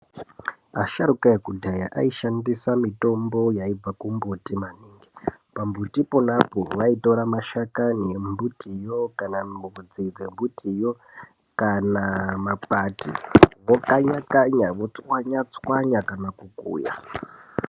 Asharuka ekudhaya aishasndisa mitombo yaibva kumumbuti maningi pamumbuti ponapo vaitora mashakani embutiyo kanamidzi yembutiyo kana makwati vokanya kanya tsvanya tsvanya kana kukuya.